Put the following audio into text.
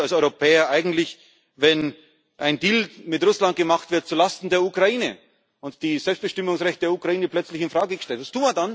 Was tun wir denn als Europäer eigentlich, wenn ein Deal mit Russland gemacht wird zu Lasten der Ukraine und das Selbstbestimmungsrecht der Ukraine plötzlich in Frage gestellt ist?